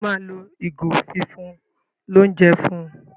Njé o ma ló ìgò fífún l'ounjẹ fún?